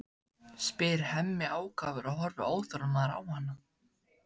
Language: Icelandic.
spyr Hemmi ákafur og horfir óþolinmóður á hana.